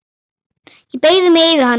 Ég beygi mig yfir hana.